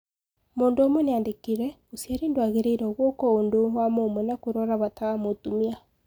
Mũndũ ũmwe niandikire: " ũciari ndwagĩrĩirwo gukwo ũndũ wa mũmwe wa kũrora bata wa mũtumia."